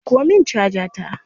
Dauko min caja ta.